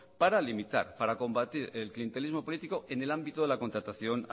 para limitar para combatir el clientelismo político en el ámbito de la contratación